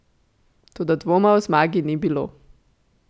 Toda dvoma o zmagi ni bilo.